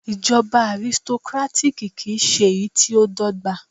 Ìjọba arisitokátákì kì ń ṣe èyí tí dọ́gba.